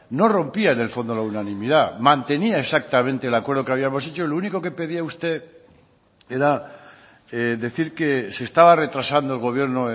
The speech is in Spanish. no rompía en el fondo la unanimidad mantenía exactamente el acuerdo que habíamos hecho lo único que pedía usted era decir que se estaba retrasando el gobierno